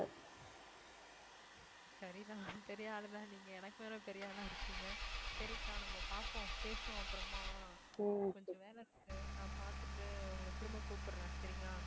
சரிதான் பெரிய ஆளுதான் நீங்க எனக்கு மேல பெரிய ஆளா இருக்கீங்க சரிக்கா நம்ம பார்ப்போம் பேசுவோம் அப்புறமா கொஞ்சம் வேலை இருக்கு நான் பார்த்துட்டு உங்களை திரும்ப கூப்பிடுறேன் சரியா